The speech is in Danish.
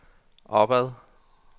opad